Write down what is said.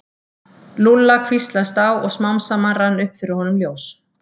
Lúlla hvíslast á og smám saman rann upp fyrir honum ljós.